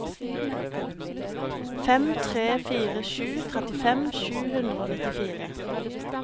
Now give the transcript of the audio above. fem tre fire sju trettifem sju hundre og nittifire